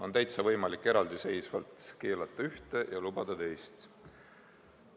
On täitsa võimalik eraldiseisvalt keelata ühte ja lubada teist.